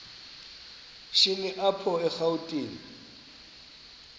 shini apho erawutini